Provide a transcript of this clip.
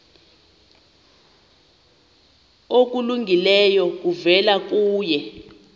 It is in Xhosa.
okulungileyo kuvela kuye